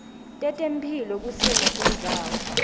tetemphilo kusimo sendzawo